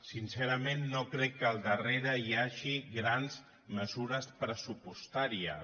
sincerament no crec que al darrere hi hagi grans me·sures pressupostàries